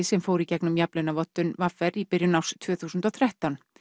sem fór í gegnum jafnlaunavottun v r í byrjun árs tvö þúsund og þrettán